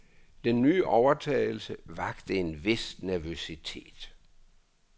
Den nye overtagelse vakt en vis nervøsitet.